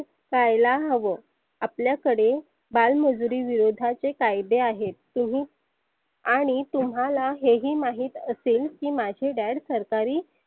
पहायला हवं आपल्याकडे बाल मजुरी विरोधाचे कायदे आहेत तुम्ही आणि तुम्हाला हे ही माहित असेल की माझे Dad सरकारी